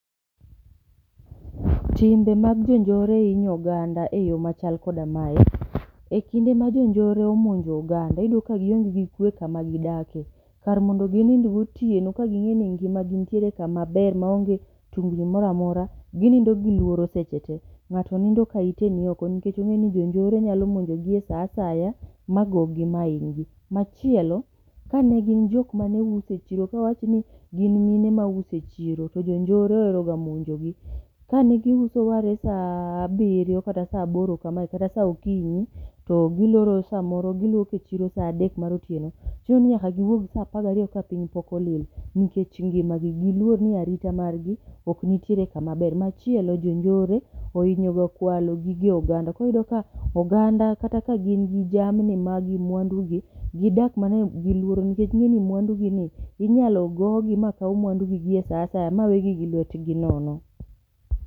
Timbe mag jo njore hinyo oganda e yo machal koda mae. E kinde ma jo njore omonjo oganda, iyudo ka gionge gi kwe kama gi dake. Kar mondo ginind gotieno ka ging'e ni ngima gi nitiere kama ber maonge tungni moramora, ginindo gi lworo seche te. Ng'ato nindo ka ite ni oko nikech ong'e ni jonjore nyalo monjogi e sa asaya ma gogi ma hinygi. Machielo, ka ne gin jok mane uso e chiro, kawachni gin mine ma uso e chiro to jonjore ohero ga monjogi. Ka ne giuso are sa abiriyo kata sa aboro kamae kata sa okinyi, to giloro samoro giwuok e chiro sa adek mar otieno. Chuno ni nyaka giwuog sa apagariyo ka piny pok olil, nikech ngima gi. Giluor ni arita gi ok nitiere kama ber. Machielo, jonjore ohinyo ga kwalo gige oganda. Koriyudo ka oganda kata ka gin gi jamni ma gin mwandu gi, gidak mana e gi luoro. Nikech ing'e ni mwandu gi ni, inyalo gogi ma kaw mwandugi gi e sa asaya ma wegi gi lwetgi nono.